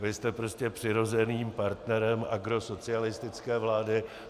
Vy jste prostě přirozeným partnerem agrosocialistické vlády.